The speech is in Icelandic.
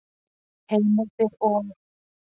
Heimildir og